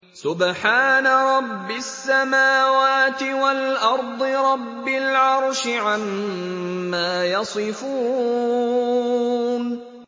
سُبْحَانَ رَبِّ السَّمَاوَاتِ وَالْأَرْضِ رَبِّ الْعَرْشِ عَمَّا يَصِفُونَ